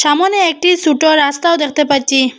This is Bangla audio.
সামোনে একটি সুটো রাস্তাও দেখতে পাচ্ছি।